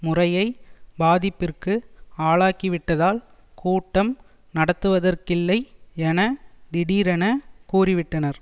முறையை பாதிப்பிற்கு ஆளாக்கிவிட்டதால் கூட்டம் நடத்துவதற்கில்லை என திடீரென கூறிவிட்டனர்